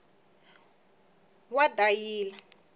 wadayila